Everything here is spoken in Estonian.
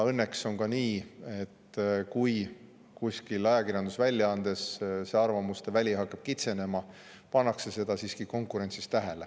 Õnneks on ka nii, et kui kuskil ajakirjandusväljaandes hakkab arvamuste väli kitsenema, pannakse seda siiski konkurentsis tähele.